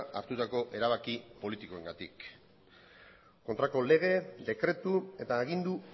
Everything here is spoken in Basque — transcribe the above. hartutako erabaki politikoengatik kontrako lege dekretu eta agindu